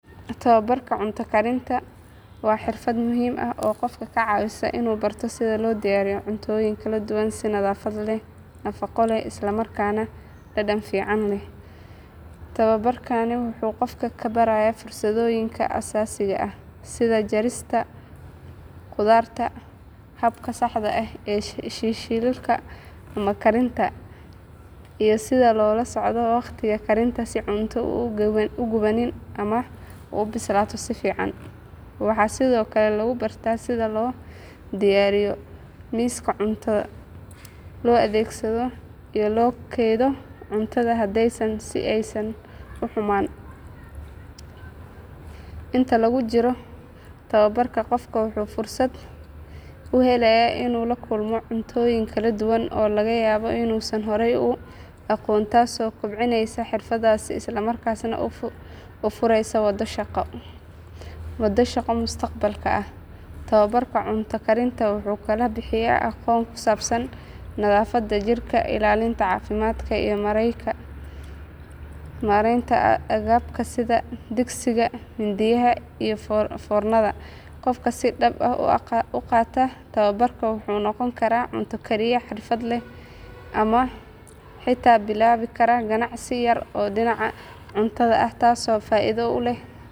Tabaabarka cunto karinta waa xirfad muhiim ah oo qofka ka caawisa inuu barto sida loo diyaariyo cuntooyin kala duwan si nadaafad leh, nafaqo leh isla markaana dhadhan fiican leh. Tabaabarkani wuxuu qofka barayaa farsamooyinka aasaasiga ah sida jarista khudaarta, habka saxda ah ee shiilista ama karinta, iyo sida loola socdo waqtiga karinta si cunto u gubanin ama u bislaato si fiican. Waxaa sidoo kale lagu bartaa sida loo diyaariyo miiska cunto, loo adeegto iyo loo kaydiyo cuntada hadhay si aysan u xumaan. Inta lagu jiro tababarka qofka wuxuu fursad u helayaa inuu la kulmo cuntooyin kala duwan oo laga yaabo inuusan horey u aqoon taasoo kobcinaysa xirfadiisa isla markaana u fureysa waddo shaqo mustaqbalka ah. Tabaabarka cunto karinta wuxuu kaloo bixiyaa aqoon ku saabsan nadaafadda jikada, ilaalinta caafimaadka iyo maaraynta agabka sida digsiyada, mindiyaha iyo foornada. Qofka si dhab ah u qaata tababarkan wuxuu noqon karaa cunto kariye xirfadle ah ama xitaa bilaabi kara ganacsi yar oo dhinaca cuntada ah taasoo faa’iido u leh.